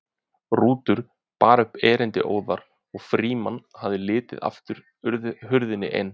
Rútur bar upp erindið óðar og Frímann hafði látið aftur hurðina en